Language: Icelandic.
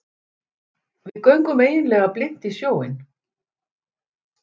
Við göngum eiginlega blint í sjóinn